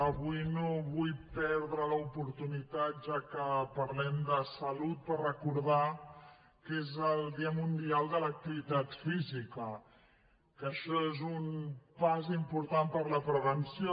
avui no vull perdre l’oportunitat ja que parlem de salut per recordar que és el dia mundial de l’activitat física que això és un pas important per a la prevenció